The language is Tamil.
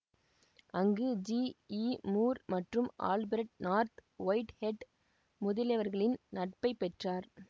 அங்கு ஜிஇமூர் மற்றும் ஆல்பிரட் நார்த் ஒயிட்ஹெட் முதலியவர்களின் நட்பை பெற்றார்